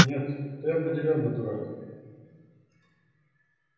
нет ты определённо дурак